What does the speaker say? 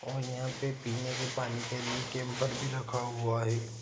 और यहाँ पर पीने के पानी के लिए कैंपर भी रखा हुआ है ।